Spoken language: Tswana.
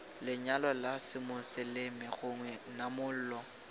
lenyalo la semoseleme gongwe namolo